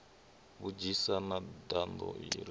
vhunzhisa na nḓaḓo i re